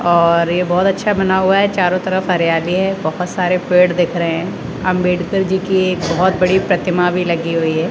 और ये बहोत अच्छा बना हुआ है चारों तरफ हरियाली है बहोत सारे पेड़ दिख रहे हैं अंबेडकर जी की एक बहोत बड़ी प्रतिमा भी लगी हुई है।